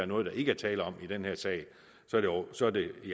noget der ikke er tale om i den her sag så er det i